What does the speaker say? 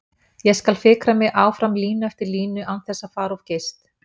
Ég skal fikra mig áfram línu eftir línu án þess að fara of geyst.